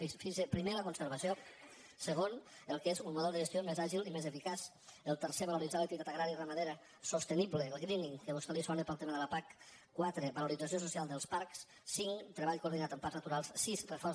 fixi’s primer la conservació segon el que és un model de gestió més àgil i més eficaç el tercer valoritzar l’activitat agrària i ramadera sostenible el greening que a vostè li sona pel tema de la pac quatre valorització social dels parcs cinc treball coordinat amb parcs naturals sis reforç